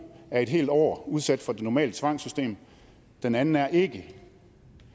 er et helt år udsat for det normale tvangssystem den anden er ikke og i